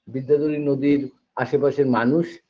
বিদ্যাধরী নদীর আশেপাশের মানুষ